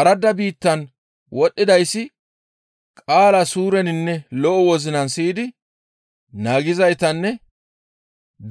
Aradda biittan wodhdhidayssi qaalaa suureninne lo7o wozinan siyidi naagizaytanne